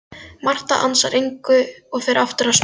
Marta ansar engu og fer aftur að smyrja.